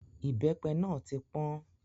Ìbẹ́pẹ náà tí pọ́n.